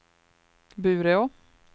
Bureå